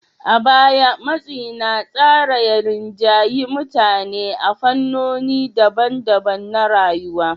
A baya, matsi na tsara ya rinjayi mutane a fannoni daban-daban na rayuwa.